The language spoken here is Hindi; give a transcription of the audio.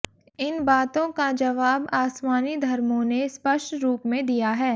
इन बातों का जवाब आसमानी धर्मों ने स्पष्ट रूप में दिया है